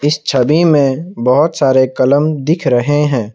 इस छवि में बहुत सारे कलम दिख रहे हैं।